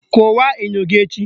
Kụwaa enyo gị echi!